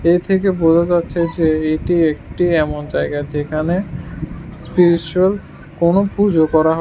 এ থেকে বোঝা যাচ্ছে যে এটি একটি এমন জায়গা যেখানে স্পেশাল কোন পুজো করা হয়।